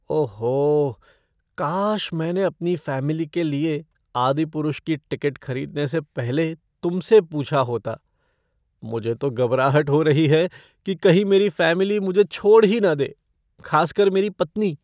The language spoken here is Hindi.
ओहो! काश मैंने अपनी फ़ैमिली के लिए "आदिपुरुष" की टिकट खरीदने से पहले तुमसे पूछा होता। मुझे तो घबराहट हो रही है कि कहीं मेरी फ़ैमिली मुझे छोड़ ही ना दे, खासकर मेरी पत्नी।